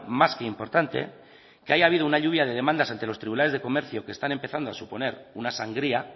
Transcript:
más que importante que haya habido una lluvia de demandas ante los tribunales de comercio que están empezando a suponer una sangría